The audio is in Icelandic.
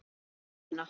Anna Jónína.